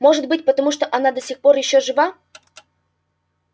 может быть потому она до сих пор ещё жива